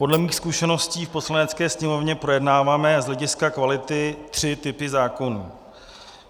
Podle mých zkušeností v Poslanecké sněmovně projednáváme z hlediska kvality tři typy zákonů.